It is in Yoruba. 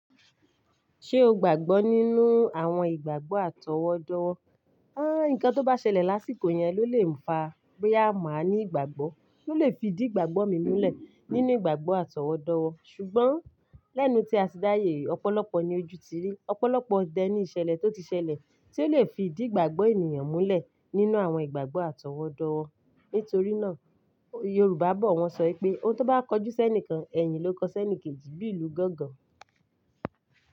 Ṣé o gbàgbọ́ nínú àwọn ìgbàgbọ́ àtọwọ́dá? Ǹkan tó bá ṣẹlẹ̀ lásìkò yẹn ló lè fa boya máa ní ìgbàgbọ́, ló lè fi idí ìgbàgbọ́ mi múlẹ̀ nínú ìgbàgbọ́ àtọwọ́ dowo. Ṣùgbọ́n lẹ́nu tí a ti dáyè, ọ̀pọ̀lọpọ̀ ni ojú ti rí, ọ̀pọ̀lọpọ̀ d ẹni ìṣẹ̀lẹ̀ tó ti ṣẹlẹ̀ tí ó lè fi ìdí ìgbàgbọ́ ènìyàn múlẹ̀ nínú àwọn ìgbàgbọ́ àtọwọ́dá. Nítorí náà Yorùbá bọ̀ wọ́n ṣọ pé "Ohun tó bá kọjú sẹ́ni kan, ẹ̀yin ló kọ sẹ́ni kejì bí ìlú gangan".